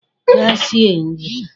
Gaa sie nri.